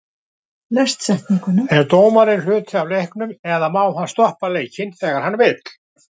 Er dómarinn hluti af leiknum eða má hann stoppa leikinn þegar hann vill?